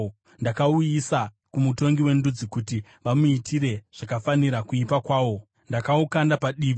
ndakauisa kumutongi wendudzi, kuti vamuitire zvakafanira kuipa kwawo. Ndakaukanda padivi,